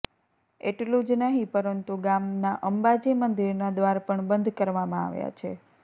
એટલું જ નહીં પરંતુ ગામના અંબાજી મંદિરના દ્વાર પણ બંધ કરવામાં આવ્યા છે